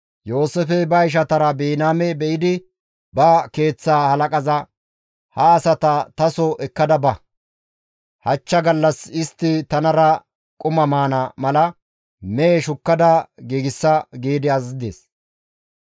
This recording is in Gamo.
Yooseefey ba ishatara Biniyaame be7idi ba keeththa halaqaza, «Ha asata taso ekkada ba; hachcha gallas istti tanara quma maana mala mehe shukkada giigsa» gi azazides.